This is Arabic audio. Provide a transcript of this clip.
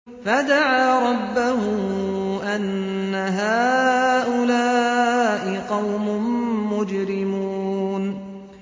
فَدَعَا رَبَّهُ أَنَّ هَٰؤُلَاءِ قَوْمٌ مُّجْرِمُونَ